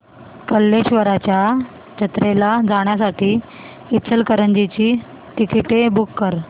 कल्लेश्वराच्या जत्रेला जाण्यासाठी इचलकरंजी ची तिकिटे बुक कर